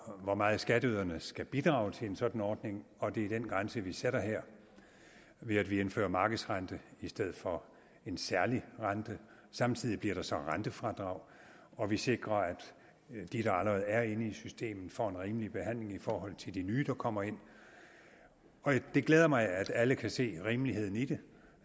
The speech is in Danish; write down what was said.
hvor meget skatteyderne skal bidrage til en sådan ordning og det er den grænse vi sætter her ved at vi indfører en markedsrente i stedet for en særlig rente samtidig bliver der så rentefradrag og vi sikrer at de der allerede er inde i systemet får en rimelig behandling i forhold til de nye der kommer ind det glæder mig at alle kan se rimeligheden i det